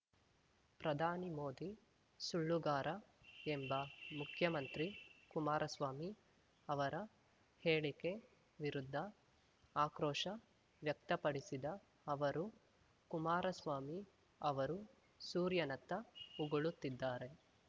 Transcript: ಪ್ರಧಾನಿ ಮೋದಿ ಸುಳ್ಳುಗಾರ ಎಂಬ ಮುಖ್ಯಮಂತ್ರಿ ಕುಮಾರಸ್ವಾಮಿ ಅವರ ಹೇಳಿಕೆ ವಿರುದ್ಧ ಆಕ್ರೋಶ ವ್ಯಕ್ತಪಡಿಸಿದ ಅವರು ಕುಮಾರಸ್ವಾಮಿ ಅವರು ಸೂರ್ಯನತ್ತ ಉಗುಳುತ್ತಿದ್ದಾರೆ